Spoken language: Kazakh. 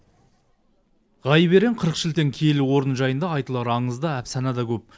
ғайып ерен қырық шілден киелі орны жайында айтылар аңыз да әфсана да көп